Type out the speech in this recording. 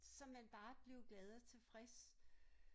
Så man bare blev glad og tilfreds